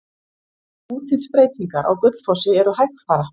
Útlitsbreytingar á Gullfossi eru hægfara.